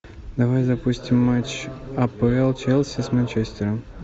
давай запустим матч апл челси с манчестером